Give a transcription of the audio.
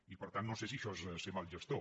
i per tant no sé si això és ser mal gestor